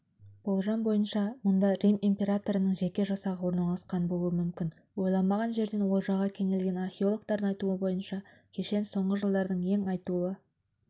болжам бойынша мұнда рим императорының жеке жасағы орналасқан болуы мүмкін ойламаған жерден олжаға кенелген археологтардың айтуынша кешен соңғы жылдардың ең айтулы